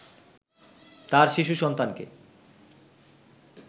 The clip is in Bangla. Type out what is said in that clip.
তার শিশু সন্তানকে